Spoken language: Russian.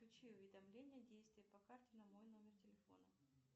включи уведомления действия по карте на мой номер телефона